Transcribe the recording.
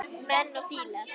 Menn og fílar